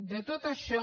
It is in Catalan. de tot això